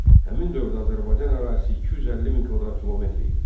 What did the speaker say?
Həmin dövrdə Azərbaycan ərazisi 250 min kvadrat kilometr idi.